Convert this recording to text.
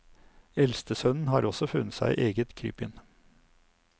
Eldstesønnen har også funnet seg eget krypinn.